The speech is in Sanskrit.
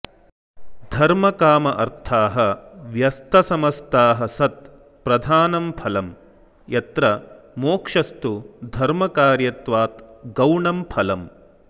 धर्मकाम अर्थाः व्यस्त समस्ताः सत् प्रधानं फलं यत्र मोक्षस्तु धर्मकार्यत्वात् गौणं फलम्